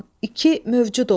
İki, mövcud olan.